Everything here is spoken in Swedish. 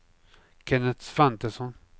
Kenneth Svantesson